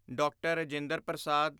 D R. Rajendra Prasad